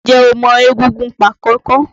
N jẹ́ o mọ egúngún Pákọ̀kọ̀?